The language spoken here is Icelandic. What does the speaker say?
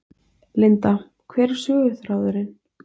Linda: Hver er söguþráðurinn?